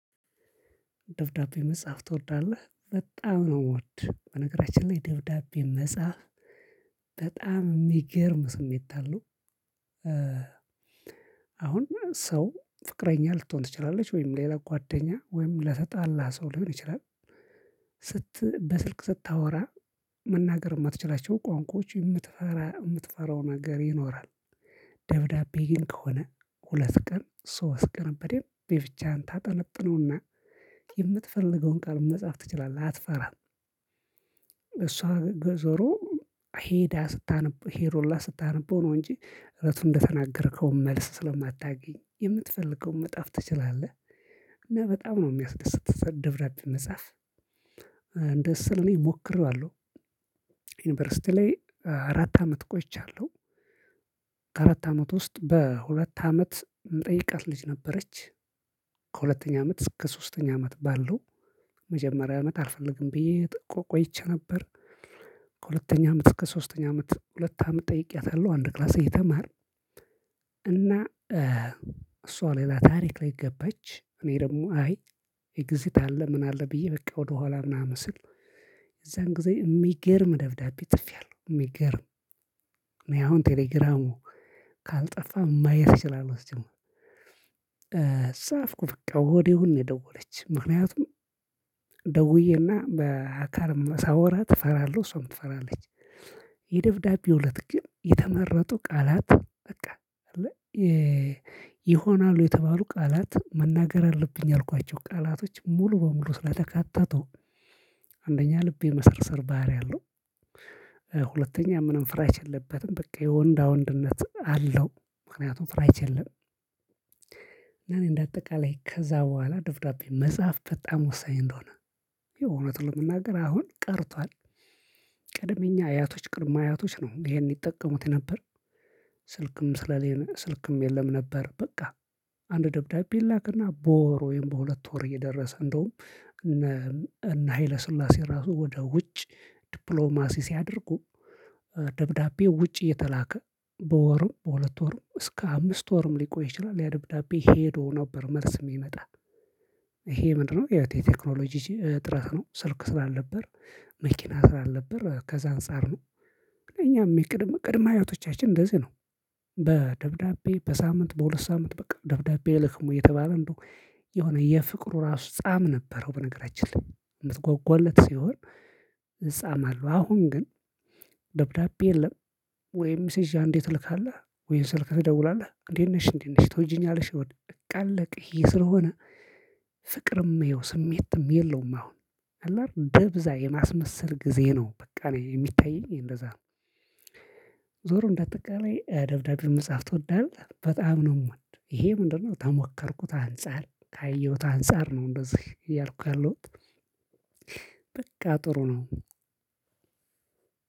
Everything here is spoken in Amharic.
ደብዳቤ መጻፍ ትወዳለህ በጣም ነው የምወድ በነገራችን ላይ ደብዳቤ መጻፍ የሚገርም ስሜት አለው። አሁን ሰው ፍቅረኛ ልትሆን ትችላለች ወይም ሌላ ጓደኛ ወይም ለተጣላ ሰው ሊሆን ይችላል። ስት በስልክ ስታወራ መናገር የማትችላቸው ቋንቋዎች የምትፈራ የምትፈራው ነገር ይኖራል። ግን ከሆነ ሁለት ቀን ሶስት ቀን በደንብ ለብቻህን ታብጠነጥነውና የምትፈልገውን ቃል መጽሐፍ ትችላለህ አትፈራም። እሷ ዞሮ ሄዳ ስታነበው ሄሮላ ስታነበው ነው እንጂ እለቱን እንደተናገርከው መልስ ስለማታገኝ የምትፈልገውን መጽሐፍ ትችላለህ። እና በጣም ነው የሚያስደስት ደብዳቤ መጽሐፍ እንደ እሱ እኔ ሞክረዋለሁ። ዩኒቨርሲቲ ላይ አራት አመት ቆይቻለሁ። አራት አመት ውስጥ በሁለት አመት ምጠይቃት ልጅ ነበረች። ከሁለተኛ አመት እስከ ሶስተኛ አመት ባለው መጀመሪያ አመት አልፈልግም ብዬ ቆይቼ ነበር። ከሁለተኛ አመት እስከ ሶስተኛ አመት ሁለት አመት ጠይቄያታለሁ አንድ ክላስ እየተማርን። እና እሷ ሌላ ታሪክ ላይ ገባች እኔ ደግሞ አይ ኤግዚት አለ ምን አለ ብዬ በቃ ወደኋላ ምናምን ስል። የዛን ጊዜ የሚገርም ደብዳቤ ጽፍያለሁ የሚገርም እኔ አሁን ቴሌግራሙ ካልጠፋ ማየት እችላለሁ እዚህ ጋር። ጻፍኩ በቃ ወዲያውኑ ነው የደወለችው ምክንያቱም ደውዬና በአካልም ሳወራት እፈራለሁ እሷም ትፈራለች። የደብዳቤው እለት ግን የተመረጡ ቃላት በቃ ይሆናሉ የተባሉ ቃላት መናገር አለብኝ አልኳቸው ቃላቶች ሙሉ በሙሉ ስለተካተቱ አንደኛ ልቤ መሰርሰር ባህሪ አለው። ሁለተኛ ምንም ፍራቻ የለበትም በቃ የወንዳ ወንድነት አለው ምክንያቱም ፍራቻ የለም። እና እኔ እንደ አጠቃላይ ከዛ በኋላ ደብዳቤ መጽሐፍ በጣም ወሳኝ እንደሆነ የእውነት ለመናገር አሁን ቀርቷል። ቀድመኛ አያቶች ቅድመ አያቶች ነው ይሄን ይጠቀሙት ነበር። ስልክም ስለሌለ ስልክም የለም ነበር። በቃ አንድ ደብዳቤ ላክና በወር ወይም በሁለት ወር እየደረሰ እንደውም እነ እነ ሀይለ ስላሴ ራሱ ወደ ውጭ ዲፕሎማሲ ሲያደርጉ ደብዳቤው ውጭ እየተላከ በወሩም በሁለት ወርም እስከ አምስት ወርም ሊቆይ ይችላል። ያደብዳቤ ሄዶ ነበር መልስ የሚመጣ ይሄ ምንድነው? የቴክኖሎጂ ጥረት ነው ስልክ ስላልነበር መኪና ስላልነበር ከዛ አንፃር ነው። እኛም የቅድመ ቅድመ አያቶቻችን እንደዚህ ነው። በደብዳቤ በሳምንት በሁለት ሳምንት በቃ ደብዳቤ ኣይልክም ወይ? እየተባለ እንደውየሆነ የፍቅሩ ራሱ ጻም ነበረው በነገራችን ላይ ልትጓጓለት ሲሆን። እዛ ማለት አሁን ግን ደብዳቤ የለም። ወይም ሚሴጅ አንዴ ትልካለህ። ወይም ስልክ ትደውላለህ እንዴት ነሽ እንዴት ነሽ ትወጂኛለሽ? ወደ በቃ ኣለቀ ይሄ ስለሆነ። ፍቅርም ይሄው ስሜትም የለውም አሁን ኣለ አይደል በብዛ የማስመሰል ጊዜ ነው በቃ እኔ የሚታየኝ እንደዛ ነው። ዞሮ እንደ ኣጠቃላይ ደብዳቤ መጽሐፍ ትወዳለህ? በጣም ነው የምወድ ይሄ ምንድነው? ከሞከርኩት አንፃር ካየሁት አንፃር ነው እንደዚህ እያልኩ ያለሁት። በቃ ጥሩ ነው።